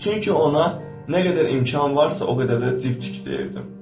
Çünki ona nə qədər imkan varsa, o qədər də cib tik deyirdim.